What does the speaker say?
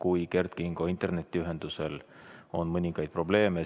Vahest Kert Kingo internetiühendusega on mõningaid probleeme.